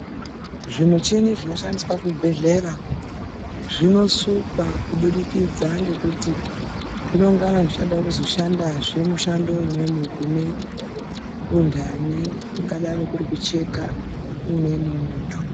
Zvimichini zvinoshandiswa kuchibhedhera zvinosukwa kubudikidzana ngekuti zvinengana zvichida kuzoshandazve mushando kune untani, kungadai kuri kucheka umwe muntu